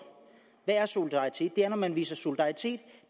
hvad solidaritet er når man viser solidaritet